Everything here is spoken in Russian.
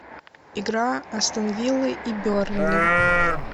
игра астон виллы и бернли